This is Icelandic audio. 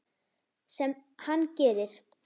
Sem hann gerir.